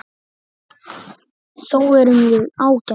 Þó erum við ágætar.